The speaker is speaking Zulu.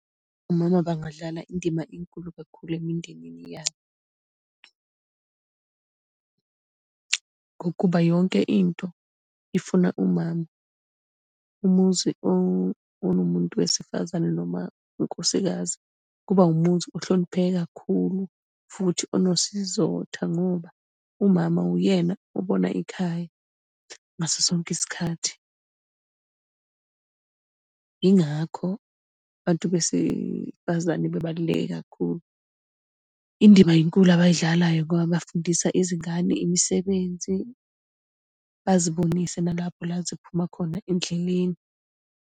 Omama bangadlala indima enkulu kakhulu emindenini yabo ngokuba yonke into ifuna umama. Umuzi onomuntu wesifazane noma unkosikazi, kuba umuzi ohlonipheke kakhulu, futhi onesizotha ngoba umama uyena obona ikhaya ngaso sonke isikhathi. Yingakho abantu besifazane bebaluleke kakhulu. Indima inkulu abayidlalayo ngoba bafundisa izingane imisebenzi, bazibonise nalapho la ziphuma khona endleleni.